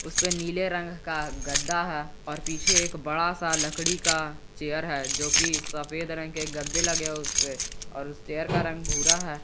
उसपे नीले रंग का गद्दा है और पीछे एक बड़ा सा लकड़ी का चेयर है जोकि सफेद रंग के गद्दे लगे है उसपे और उस चेयर का रंग भूरा है।